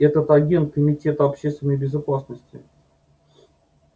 это агент комитета общественной безопасности